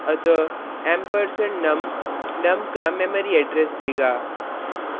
अतः ampersand num num का memory address देगा